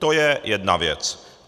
To je jedna věc.